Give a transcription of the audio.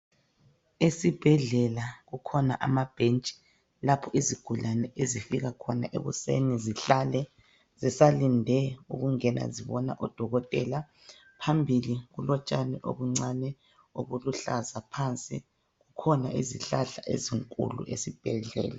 Esibhedlela kukhona amabhentshi lapho izigulane ezifika khona ekuseni zihlale zisalinde ukungena zibone odokotela. Phambili kulotshani obuncani, obuluhlaza phansi. Kukhona izihlahla ezinkulu esibhedlela.